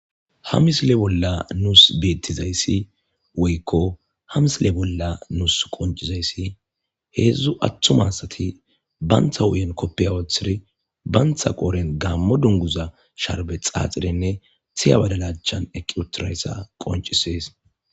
hamisile bolla nuus beettizayssi woykko hamisile bolla nuus qoncizayssi heedzdzu atthumasati bayntha wuyen koppeya wothiri bantha qoren gammo dunguza sharbe xaaxirenne tiya badalachan eqiutirayssa qoncisees.